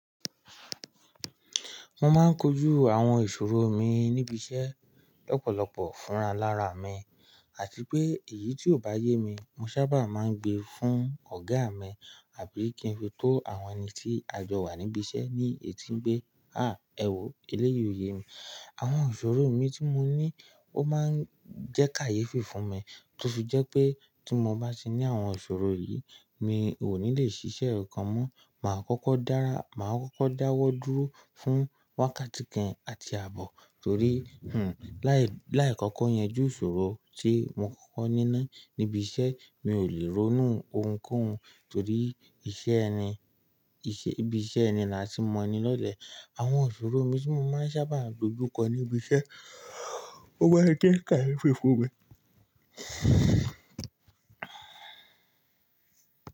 Mo máa ń kojú àwọn ìṣòro mi níbi iṣẹ́ lọ́pọ̀lọpọ̀ fúnra alára mi, àti pé èyí tí ò bá yé mi, mo sábà máa ń gbe fún ọ̀gá mi àbí kí n fi tó àwọn ẹni tí a jọwà níbi iṣẹ́ ní etí pé, "à, ẹ wò ó, eléyìí òye mi." Àwọn ìṣòro mi tí mo ní ó máa ń jẹ́ kàyéfì fún mi tó fì jẹ́ pé tí mo bá ti ní àwọn ìṣòro yìí, mi ò ní lè ṣiṣẹ́ kokan mọ́. Màá kókó dára, màá kókó dáwọ́ dúró fún wákàtí kan àti ààbọ̀ torí, hmm, láì kọ́kọ́ yanjú ìṣòro tí mo kókó ní náà níbi iṣẹ́, mi ò lè ronú ohunkóhun torí iṣẹ́ ẹni, ibi iṣẹ́ ẹni làti mọ ẹni lọ́lẹ̀. Àwọn ìṣòro mi tí mo máa ń sábà dojú kọ níbi iṣẹ́, ó máa ń jẹ́ kàyéfì fún mi.